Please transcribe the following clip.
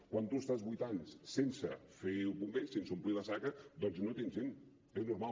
quan tu estàs vuit anys sense fer bombers sense omplir la saca doncs no tens gent és normal